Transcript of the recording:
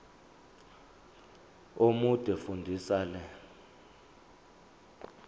omude fundisisa le